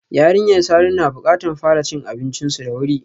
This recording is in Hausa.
Yarinyar Sani na bukatar fara cin abincinsu da wuri.